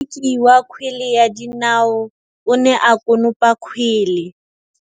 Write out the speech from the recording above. Motshameki wa kgwele ya dinaô o ne a konopa kgwele.